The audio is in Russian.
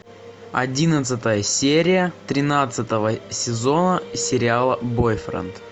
одиннадцатая серия тринадцатого сезона сериала бойфренд